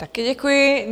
Také děkuji.